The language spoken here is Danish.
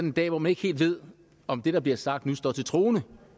en dag hvor man ikke helt ved om det der bliver sagt nu står til troende